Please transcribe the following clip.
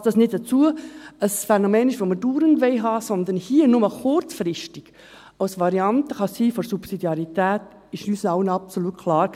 Dass dies nicht ein Phänomen ist, welches wir dauernd haben wollen, sondern hier nur kurzfristig eine Variante für die Subsidiarität sein kann, war uns allen absolut klar.